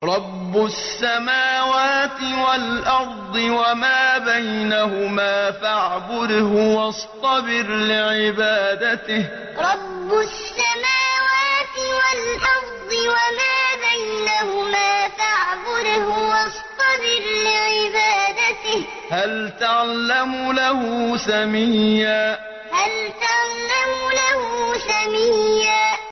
رَّبُّ السَّمَاوَاتِ وَالْأَرْضِ وَمَا بَيْنَهُمَا فَاعْبُدْهُ وَاصْطَبِرْ لِعِبَادَتِهِ ۚ هَلْ تَعْلَمُ لَهُ سَمِيًّا رَّبُّ السَّمَاوَاتِ وَالْأَرْضِ وَمَا بَيْنَهُمَا فَاعْبُدْهُ وَاصْطَبِرْ لِعِبَادَتِهِ ۚ هَلْ تَعْلَمُ لَهُ سَمِيًّا